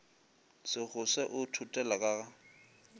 sekgose o thothela ka ga